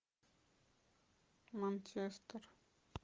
манчестер